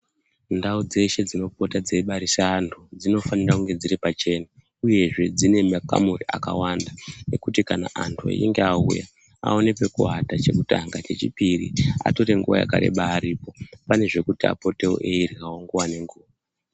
Ndau dzeshe dzinopota dzeibarise antu dzinofanire kunge dziri pachena Uyezve dzine makamuri akawanda ekuti kana anhu einge auya aoñé pekuwata chekutanga chechipiri atore nguwa yakareba aripo pane zvekuti apotewo einhongwa nengu.